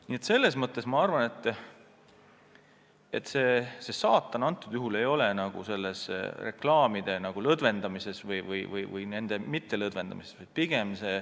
Nii et selles mõttes ei ole asi minu arvates reklaamipiirangute lõdvendamises või mittelõdvendamises.